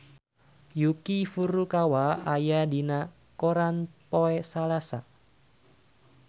Yuki Furukawa aya dina koran poe Salasa